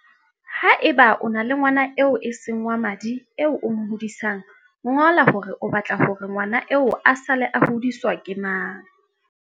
Haeba o na le ngwana eo e seng wa madi eo o mo hodisang, ngola hore o ba tla hore ngwana eo a sale a hodiswa ke mang.